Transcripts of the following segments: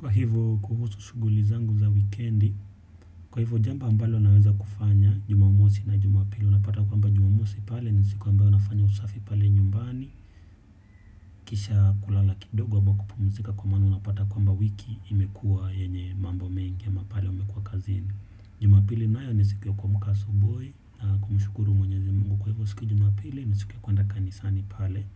Kwa hivyo kuhusu shughuli zangu za weekendi, kwa hivyo jambo ambalo naweza kufanya jumamosi na jumapili, unapata kwamba jumamosi pale ni siku ambayo nafanya usafi pale nyumbani, kisha kulala kidogo ama kupumzika kwa maana unapata kwamba wiki imekuwa yenye mambo mengi ama pale umekuwa kazini. Jumapili nayo ni siku ya kuamk asubui na kumshukuru mwenyezi mungu kwa hivyo siku jumapili ni siku ya kuenda kanisani pale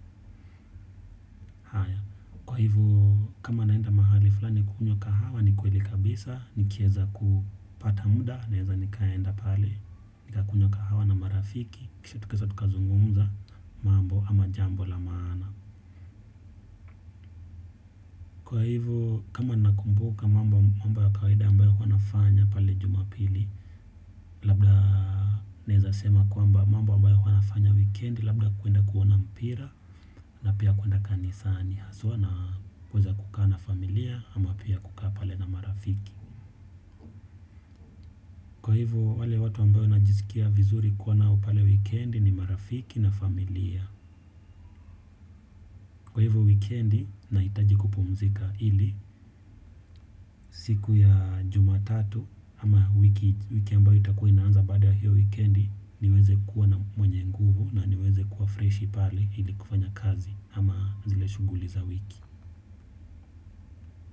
haya. Kwa hivo kama naenda mahali fulani kunywa kahawa ni kweli kabisa nikieza kupata muda naeza nikaenda pale. Nikakunywa kahawa na marafiki kisha tukazungumza mambo ama jambo la maana. Kwa hivo kama ninakumbuka mambo mambo ya kawaida ambayo wanafanya pale jumapili. Labda naezasema kwamba mambo ambayo huwa nafanya weekendi labda kuenda kuona mpira na pia kuenda kanisani haswa na kuweza kukaa na familia ama pia kukaa pale na marafiki. Kwa hivo, wale watu ambao najiskia vizuri kuwa nao pale weekendi ni marafiki na familia. Kwa hivo wikendi, nahitaji kupumzika ili siku ya jumatatu ama wiki ambayo itakuwa inaanza baada ya hiyo weekendi niweze kuwa na mwenye nguvu na niweze kuwa freshi pale ili kufanya kazi ama zile shughuli za wiki.